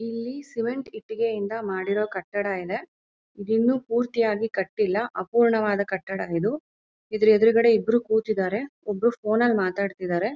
ಇಲ್ಲಿ ಸಿಮೆಂಟ್ ಇಟ್ಟಿಗೆಯಿಂದ ಮಾಡಿರೋ ಕಟ್ಟಡ ಇದೆ. ಇದು ಇನ್ನು ಪೂರ್ತಿಯಾಗಿ ಕಟ್ಟಿಲ್ಲ ಅಪೂರ್ಣವಾದ ಕಟ್ಟಡ ಇದು. ಇದರ ಎದುರುಗಡೆ ಇಬ್ರು ಕೂತಿದ್ದಾರೆ ಒಬ್ರು ಫೋನ್ ನಲ್ಲಿ ಮಾತಾಡ್ತಿದ್ದಾರೆ.